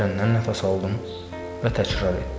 Dərindən nəfəs aldım və təkrar etdim.